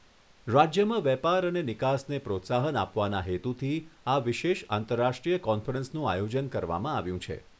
રાજ્યમાં વેપાર અને નિકાસને પ્રોત્સાહન આપવાના હેતુથી આ વિશેષ આંતરરાષ્ટ્રીય કોન્ફરન્સનું આયોજન કરવામાં આવ્યું છે.